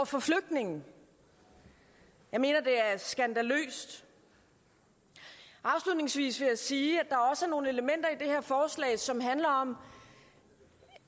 for flygtninge jeg mener det er skandaløst afslutningsvis vil jeg sige at som handler om